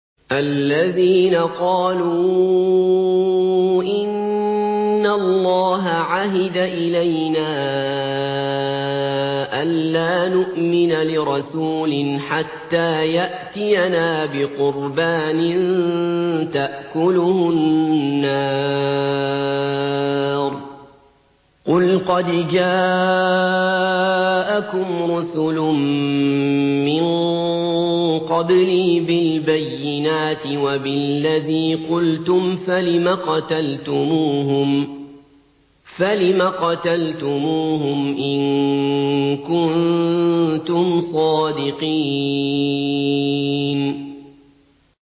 الَّذِينَ قَالُوا إِنَّ اللَّهَ عَهِدَ إِلَيْنَا أَلَّا نُؤْمِنَ لِرَسُولٍ حَتَّىٰ يَأْتِيَنَا بِقُرْبَانٍ تَأْكُلُهُ النَّارُ ۗ قُلْ قَدْ جَاءَكُمْ رُسُلٌ مِّن قَبْلِي بِالْبَيِّنَاتِ وَبِالَّذِي قُلْتُمْ فَلِمَ قَتَلْتُمُوهُمْ إِن كُنتُمْ صَادِقِينَ